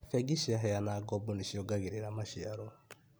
Bengi ciaheana ngoombo nĩ ciongagĩrĩa maciaro